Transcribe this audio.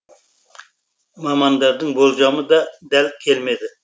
мамандардың болжамы да дәл келмеді